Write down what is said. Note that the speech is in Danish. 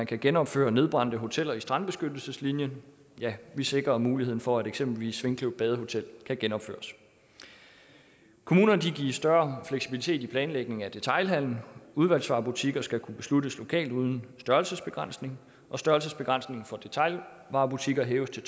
kan genopføre nedbrændte hoteller i strandbeskyttelseslinjen ja vi sikrer muligheden for at eksempelvis svinkløv badehotel kan genopføres kommunerne gives større fleksibilitet i planlægningen af detailhandelen udvalgsvarebutikker skal kunne besluttes lokalt uden størrelsesbegrænsning og størrelsesbegrænsningen for detailvarebutikker hæves til